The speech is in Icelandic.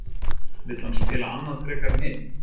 Vill hann spila annað frekar en hitt?